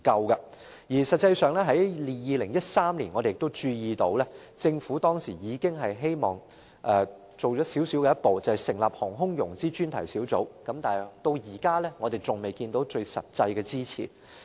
而實際上，我們均注意到，政府已在2013年踏出一小步，那便是成立航空融資專題小組，但至今我們仍未看到任何實質的支持。